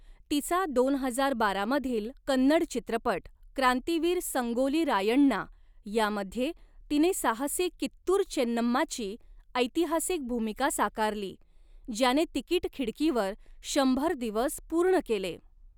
तिचा दोन हजार बारा मधील कन्नड चित्रपट 'क्रांतिवीर संगोली रायण्णा' यामध्ये तिने साहसी कित्तूर चेन्नम्माची ऐतिहासिक भूमिका साकारली, ज्याने तिकीट खिडकीवर शंभर दिवस पूर्ण केले.